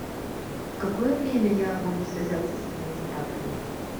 в какое время я могу связаться с администратором